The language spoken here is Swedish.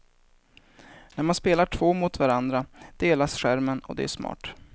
När man spelar två mot varandra delas skärmen, och det är smart.